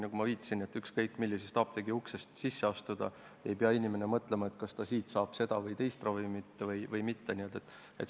Nagu ma viitasin, siis ükskõik millise apteegi uksest inimene sisse astub, ei peaks ta mõtlema sellele, kas siit saab seda või teist ravimit või mitte.